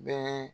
Bɛɛ